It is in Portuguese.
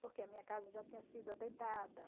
Porque a minha casa já tinha sido atentada.